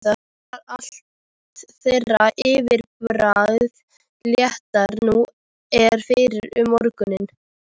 Var allt þeirra yfirbragð léttara nú en fyrr um morguninn.